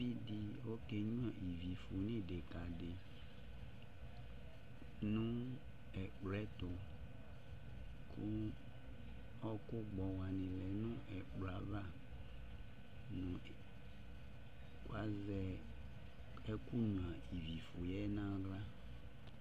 Uvi ɖɩ ɔƙenƴua iviƒu n'ɩɖɩƙaɖɩ ,nʋ ɛƙplɔƴɛtʋƘʋ ɔɔƙʋ gbɔ wanɩ bɩ lɛ nʋ ɛƙplɔɛavaƘʋ azɛ ɛkʋ nƴua iviƒu ƴɛ n'aɣla